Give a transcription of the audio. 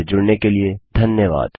हमसे जुड़ने के लिए धन्यवाद